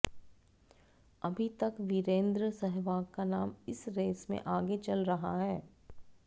अभी तक वीरेंद्र सहवाग का नाम इस रेस में आगे चल रहा है